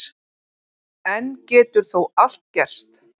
Enn getur þó allt gerst